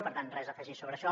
per tant res a afegir sobre això